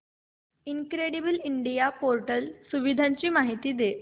incredible India portal सुविधांची माहिती दे